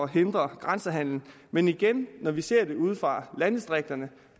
hindre grænsehandel men igen når vi ser det ude fra landdistrikterne